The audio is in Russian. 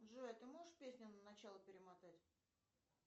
джой а ты можешь песню на начало перемотать